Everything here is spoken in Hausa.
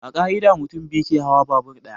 A ƙa'ida, mutum biyu ke hawa babur ɗaya.